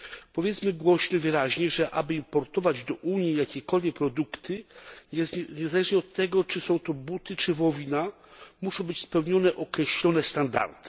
Powiedzmy głośno i wyraźnie, że aby importować do Unii jakiekolwiek produkty, niezależnie od tego, czy są to buty czy wołowina, muszą być spełnione określone standardy.